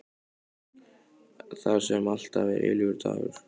Þar sem alltaf er eilífur dagur.